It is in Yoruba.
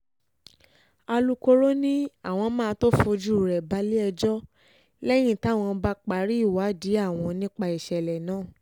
alūkkóró ni àwọn máa tóó fojú rẹ balẹ̀-ẹjọ́ lẹ́yìn táwọn bá parí ìwádìí àwọn nípa ìṣẹ̀lẹ̀ náà